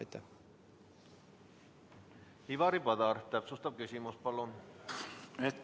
Ivari Padar, täpsustav küsimus, palun!